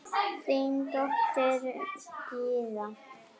Þín dóttir Gyða.